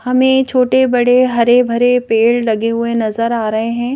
हमें छोटे-बड़े हरे भरे पेड़ लगे हुए नजर आ रहे हैं।